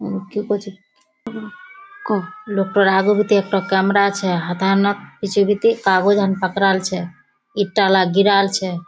Camera छे। हथा न पहुंचा जीती पकड़ाल छे। ईटा ला गिराल छे।